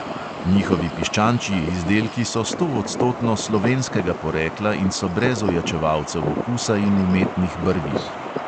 Njihovi piščančji izdelki so stoodstotno slovenskega porekla in so brez ojačevalcev okusa in umetnih barvil.